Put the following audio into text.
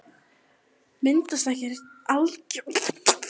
Myndast ekki algjör kaos hérna fyrir framan staðinn?